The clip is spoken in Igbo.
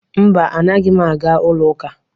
Mba, anaghị m aga ụlọ akụ.